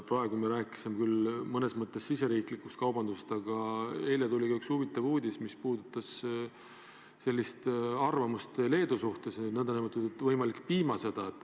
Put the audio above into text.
Praegu me rääkisime küll riigisisesest kaubandusest, aga eile tuli üks huvitav uudis, mis puudutas arvamust, et Leedu käivitab nn piimasõja.